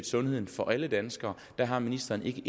sundheden for alle danskere der har ministeren ikke